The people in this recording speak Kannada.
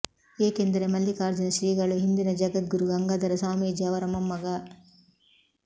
ಏಕೆಂದರೆ ಮಲ್ಲಿಕಾರ್ಜುನ ಶ್ರೀಗಳು ಹಿಂದಿನ ಜಗದ್ಗುರು ಗಂಗಾಧರ ಸ್ವಾಮೀಜಿ ಅವರ ಮೊಮ್ಮಗ